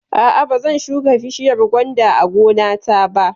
A'a, ba zan shuka bishiyar gwanda a gona ta ba